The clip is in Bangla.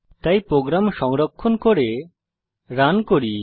তাই প্রোগ্রাম সংরক্ষণ করে রান করি